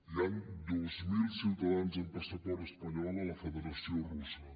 hi han dos mil ciutadans amb passaport espanyol a la federació russa